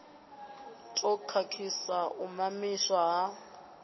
ḓo khakhisa u mamiswa ha